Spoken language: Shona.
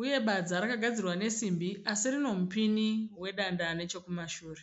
uye badza rakagadzirwa nesimbi asi rinomupini wedanda nechokumashure.